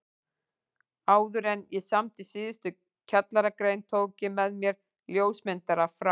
Áðuren ég samdi síðustu kjallaragrein tók ég með mér ljósmyndara frá